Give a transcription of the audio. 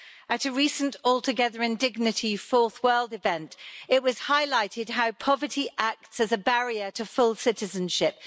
At a recent All Together in Dignity Fourth World event, it was highlighted how poverty acts as a barrier to full citizenship.